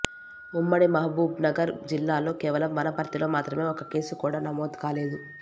ఉమ్మడి మహబూబ్నగర్ జిల్లాలో కేవలం వనపర్తిలో మాత్రమే ఒక్క కేసు కూడా నమోదు కాలేదు